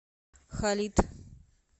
халид